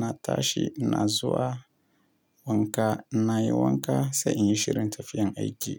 na tashi na zuwa wanka. Na yi wanka sai in yi shirin tafiyan aiki.